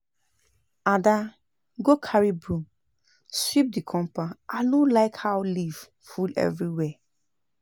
Ada go carry broom sweep the compound I no like how leaf full everywhere